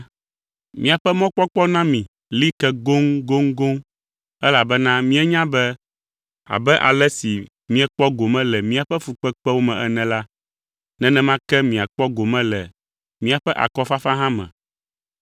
Míaƒe mɔkpɔkpɔ na mi li ke goŋgoŋgoŋ, elabena míenya be abe ale si miekpɔ gome le míaƒe fukpekpewo me ene la, nenema ke miakpɔ gome le míaƒe akɔfafa hã me.